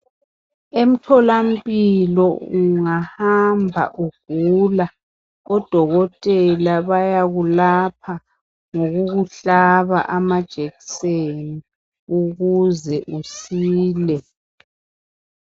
Emtholamphilo ungahamba egula odokotela bayakwelapha ngokukuhlaba amajekiseni ukuze usile.